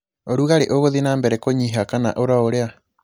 ũrugarĩ ũgũtie na mbere kũnyiha kana ũrio ũria